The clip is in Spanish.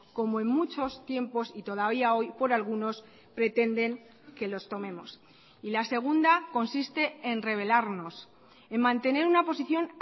como en muchos tiempos y todavía hoy por algunos pretenden que los tomemos y la segunda consiste en revelarnos en mantener una posición